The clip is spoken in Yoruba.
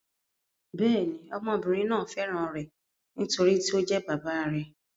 Bẹ́ẹ̀ ni, ọmọbìnrin náà fẹ́ràn rẹ̀, nítorí tí ó jẹ́ bàbá rẹ̀.